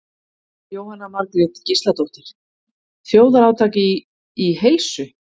Jóhanna Margrét Gísladóttir: Þjóðarátak í, í heilsu?